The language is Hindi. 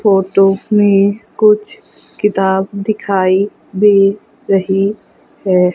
फोटो में कुछ किताब दिखाई दे रही है।